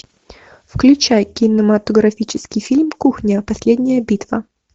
включай кинематографический фильм кухня последняя битва